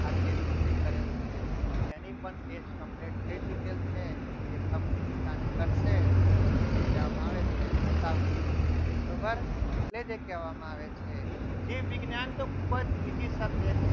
આ test પૂરી કરેલ છે જેની પણ test complete થઈ ચૂકેલી છે અને જે કહેવામાં આવે છે તે બતાવશે એટલે જ એ કહેવામાં આવે છે. જીવવિજ્ઞાન તો ખૂબ જ ઓછી subject છે.